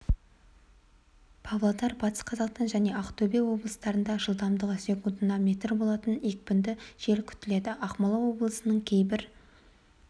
павлодар батыс қазақстан және ақтөбе облыстарында жылдамдығы секундына метр болатын екпінді жел күтіледі ақмола облысының кейбір